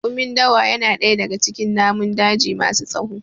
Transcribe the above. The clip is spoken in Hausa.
Raƙumin Dawa ya na ɗaya daga cikin namun daji ma su tsawo